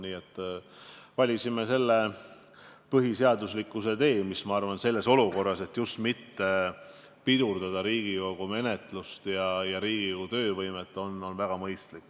Seepärast me valisime selle põhiseaduslikkusele tugineva tee, mis, ma arvan, on väga mõistlik, just pidades silmas soovi mitte pidurdada Riigikogu menetlust ja halvata Riigikogu töövõimet.